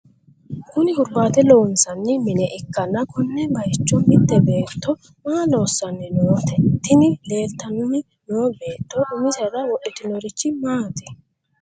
kuni hurbaate loonsanni mine ikkanna, konne bayiicho mitte beetto maa loossanni noote? tini leeltanni noo beetto umisera wodhitinorichi maati ?